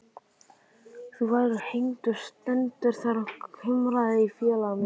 Þú verður hengdur stendur þar kumraði í félaga mínum.